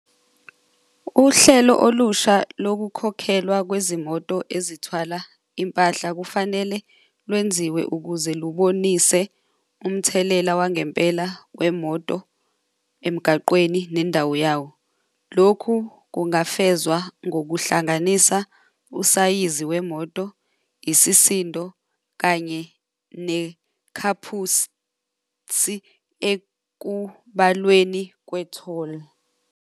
Uhlelo olusha lokukhokhelwa kwezimoto ezithwala impahla kufanele lwenziwe ukuze lubonise umthelela wangempela wemoto emgaqweni nendawo yawo. Lokhu kungafezwa ngokuhlanganisa usayizi wemoto, isisindo, kanye nekhaphusi ekubalweni kwe-toll.